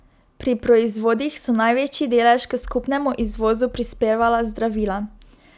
Pri proizvodih so največji delež k skupnemu izvozu prispevala zdravila.